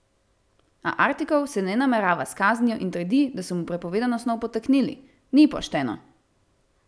A Artikov se ne namerava s kaznijo in trdi, da so mu prepovedano snov podtaknili: "Ni pošteno.